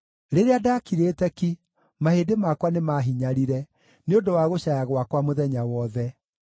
Rĩrĩa ndakirĩte ki, mahĩndĩ makwa nĩmahinyarire nĩ ũndũ wa gũcaaya gwakwa mũthenya wothe.